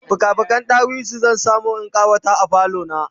fika fiken ɗawisu zan samu in ƙawata falo na